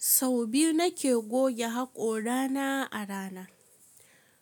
Sau biyu nake goge haƙorana a rana.